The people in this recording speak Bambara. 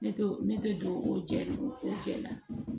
Ne tɛ ne tɛ don o jɛ o jɛn la